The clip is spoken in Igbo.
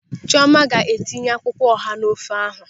Chiọma ga-etinye akwụkwọ ọha n'ofe ahụ.